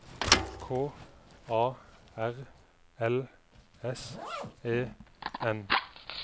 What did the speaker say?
K A R L S E N